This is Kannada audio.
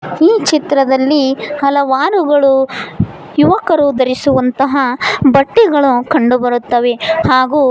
ಈ ಚಿತ್ರದಲ್ಲಿ ಹಲವಾರುಗಳು ಯುವಕರು ಧರಿಸುವಂತ ಬಟ್ಟೆಗಳು ಕಂಡು ಬರುತ್ತವೆ ಹಾಗು --